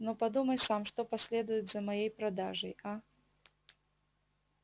но подумай сам что последует за моей продажей а